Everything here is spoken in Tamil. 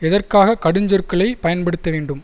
எதற்காக கடுஞ் சொற்களை பயன்படுத்த வேண்டும்